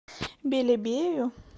белебею